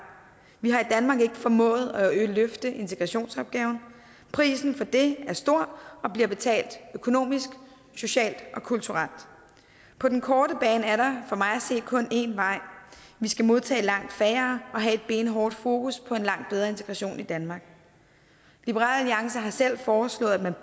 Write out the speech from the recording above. vi har i danmark ikke formået at løfte integrationsopgaven prisen for det er stor og bliver betalt økonomisk socialt og kulturelt på den korte bane er der for mig at se kun én vej vi skal modtage langt færre og have et benhårdt fokus på en langt bedre integration i danmark liberal alliance har selv foreslået at man